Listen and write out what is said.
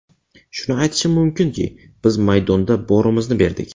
Shuni aytishim mumkinki, biz maydonda borimizni berdik.